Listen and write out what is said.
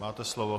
Máte slovo.